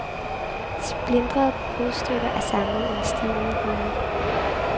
Splintrede brudstykker er samlet i en stivnet humor.